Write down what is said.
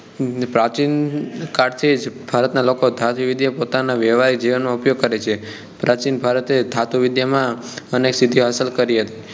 પ્રાચીનકાળ થી જ ભારત ના લોકો ધાતુવિદ્યા નો પોતાના વ્યવહારિક જીવન માં ઉપયોગ કરે છે પ્રાચીન ભારતે ધાતુવિદ્યા માં સિદ્ધિ હાસિલ કરી હતી